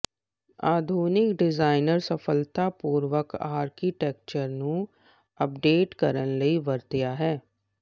ਆਧੁਨਿਕ ਡਿਜ਼ਾਇਨਰ ਸਫਲਤਾਪੂਰਕ ਆਰਕੀਟੈਕਚਰ ਨੂੰ ਅਪਡੇਟ ਕਰਨ ਲਈ ਵਰਤਿਆ ਹੈ